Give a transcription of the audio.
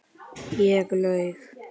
Ég laug.